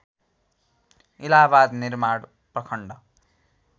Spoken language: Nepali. इलाहाबाद निर्माण प्रखण्ड